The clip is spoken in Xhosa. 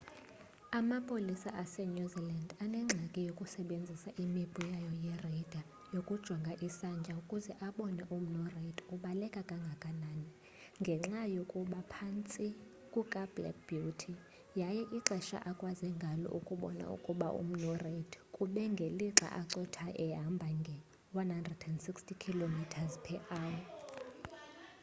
amapolisa asenew zealand anengxaki yokusebenzisa imipu yayo ye-radar yokujonga isantya ukuze abone ukuba umnu reid ubaleka kangakanani ngenxa yokuba phantsi kukablack beauty kwaye ixesha akwaze ngalo ukubona ukuba umnu reid kube ngelixa ecotha ehamba nge-160km/h